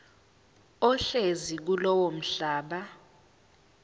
ohlezi kulowo mhlaba